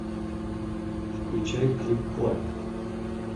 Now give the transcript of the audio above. включай клик клак